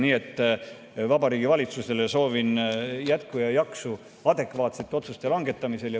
Nii et valitsusele soovin jaksu adekvaatsete otsuste langetamisel.